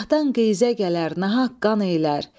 Gahdan qeyzə gələr, nahaq qan eylər.